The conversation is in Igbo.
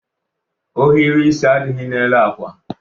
Ohiri isi adịghị n'elu akwa